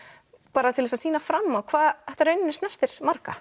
bara til að sýna fram á hvað þetta í rauninni snertir marga